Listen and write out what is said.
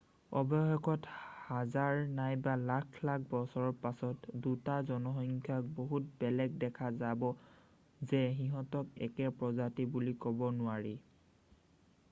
অৱশেষত হাজাৰ নাইবা লাখ লাখ বছৰৰ পাছত 2 টা জনসংখ্যাক বহুত বেলেগ দেখা যাব যে সিঁহতক একে প্ৰজাতি বুলি কব নোৱাৰি৷